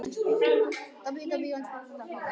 Að finna barnið í sér.